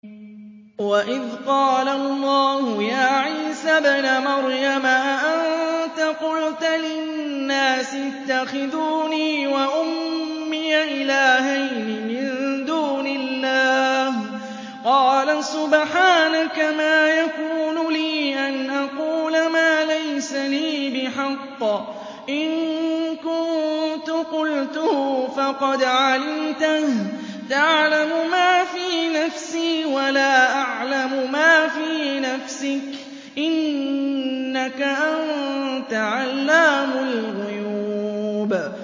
وَإِذْ قَالَ اللَّهُ يَا عِيسَى ابْنَ مَرْيَمَ أَأَنتَ قُلْتَ لِلنَّاسِ اتَّخِذُونِي وَأُمِّيَ إِلَٰهَيْنِ مِن دُونِ اللَّهِ ۖ قَالَ سُبْحَانَكَ مَا يَكُونُ لِي أَنْ أَقُولَ مَا لَيْسَ لِي بِحَقٍّ ۚ إِن كُنتُ قُلْتُهُ فَقَدْ عَلِمْتَهُ ۚ تَعْلَمُ مَا فِي نَفْسِي وَلَا أَعْلَمُ مَا فِي نَفْسِكَ ۚ إِنَّكَ أَنتَ عَلَّامُ الْغُيُوبِ